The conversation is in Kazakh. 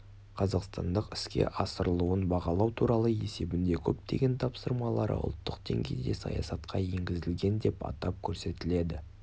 қазақстандық іске асырылуын бағалау туралы есебінде көптеген тапсырмалары ұлттық деңгейде саясатқа енгізілген деп атап көрсетіледі